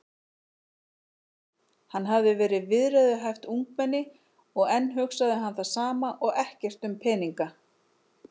Hann hafði verið viðræðuhæft ungmenni og enn hugsaði hann sama og ekkert um peninga.